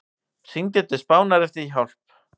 Hringdi til Spánar eftir hjálp